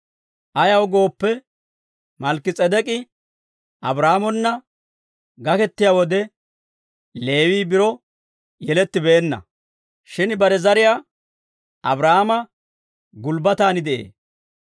Ayaw gooppe, Malkki-S'edek'k'i Abraahaamona gakettiyaa wode, Leewii biro yelettibeenna; shin bare zariyaa Abraahaama gulbbatan de'ee.